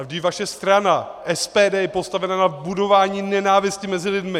Ale vždyť vaše strana, SPD, je postavena na budování nenávisti mezi lidmi.